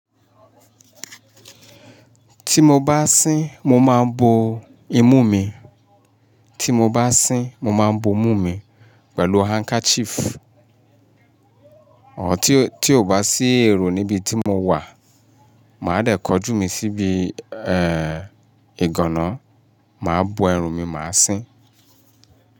Ti mo bá sín mo máa ń bo imú mi. Ti mo bá sín mo máa ń bo imú mi pẹ̀lú handkerchief. À tí-tí o bá sí èrò níbi tí mo wà, màá dẹ̀ kọjú mi síbi, ẹ, ìgànná, màá bo ẹrù mi, màá sín.